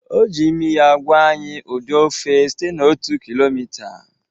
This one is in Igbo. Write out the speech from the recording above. O ji imi ya gwa anyị ụdị ofe site na otu kilomita